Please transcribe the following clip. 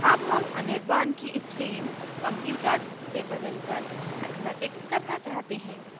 अब हम anirban anirban की stream computers से बदलकर mathematics करना चाहते हैं